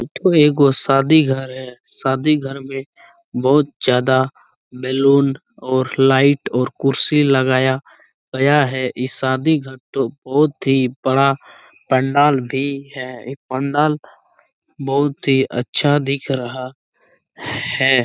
एठो एगो शादी घर है शादी घर मे बहुत ज्यादा बेलून और लाइट और कुर्सी लगाया गया है इ शादीघर तो बहोत ही बड़ा पंडाल भी है इ पंडाल बहोत